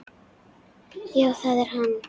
Já það er hann.